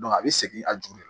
a bɛ segin a ju de ma